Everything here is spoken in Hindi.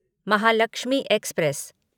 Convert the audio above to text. महालक्ष्मी एक्सप्रेस